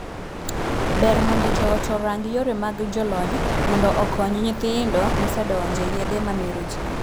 Ber mondo joot orang yore mag jolony mondo okonyo nyithindo mosedonje yedhe ma mero jii.